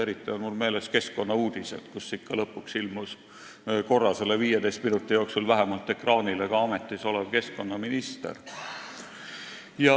Eriti on mul meeles keskkonnauudised, kus lõpuks ilmus ikka vähemalt korra selle 15 minuti jooksul ekraanile ka ametis olev keskkonnaminister.